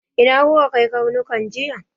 Ina kuka kai karnukan nan jiya!